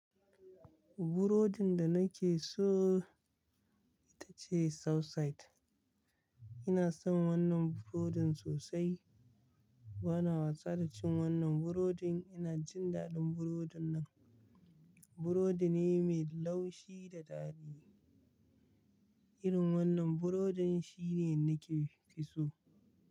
Burodin da nake so ita ce Southside. Ina son wannan burodin sosai. Bana watsa da cin wannan burodin. Ina jin daɗin burodin nan. Burodi ne mai laushi da daɗi. Irin wannan burodin shine nake fiso.